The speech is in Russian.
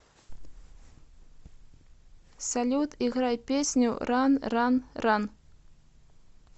салют играй песню ран ран ран